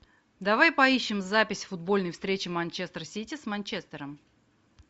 давай поищем запись футбольной встречи манчестер сити с манчестером